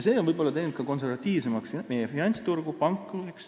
See on võib-olla teinud konservatiivsemaks ka meie finantsturgu, panku.